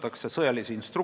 Austatud Riigikogu liikmed!